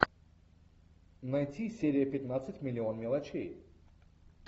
найти серия пятнадцать миллион мелочей